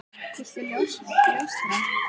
Viltu ljóstra því upp?